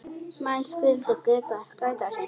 Menn skyldu gæta sín.